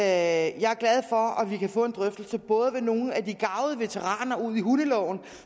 at vi kan få en drøftelse både med nogle af de garvede veteraner udi hundeloven